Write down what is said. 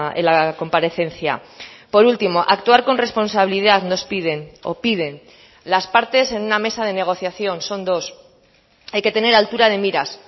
en la comparecencia por último actuar con responsabilidad nos piden o piden las partes en una mesa de negociación son dos hay que tener altura de miras